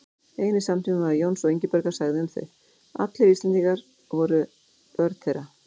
Einn samtímamaður Jóns og Ingibjargar sagði um þau: Allir Íslendingar voru börn þeirra